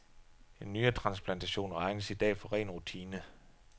En nyretransplantation regnes i dag for ren rutine.